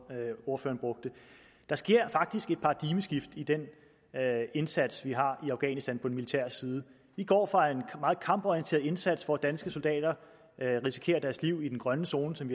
ordføreren brugte der sker faktisk et paradigmeskift i den indsats vi har i afghanistan på den militære side vi går fra en meget kamporienteret indsats hvor danske soldater risikerer deres liv i den grønne zone som